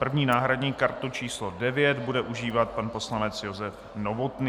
První náhradní kartu číslo 9 bude užívat pan poslanec Josef Novotný.